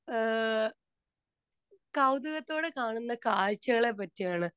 speaker 2 അഹ് കൗതുകത്തോടെ കാണുന്ന കാഴ്ചകളെ പറ്റിയാണ്